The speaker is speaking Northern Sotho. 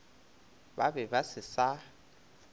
ba be ba se sa